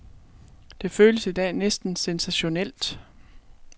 Det føles i dag næsten sensationelt.